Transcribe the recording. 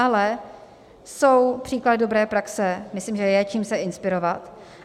Ale jsou příklady dobré praxe, myslím, že je, čím se inspirovat.